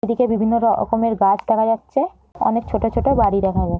এইদিকে বিভিন্ন র রকমের গাছ দেখা যাচ্ছে অনেক ছোটো ছোটো বাড়ি দেখা যায় ।